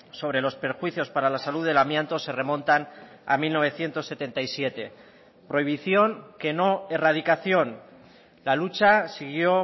sobre los perjuicios para la salud del amianto se remontan a mil novecientos setenta y siete prohibición que no erradicación la lucha siguió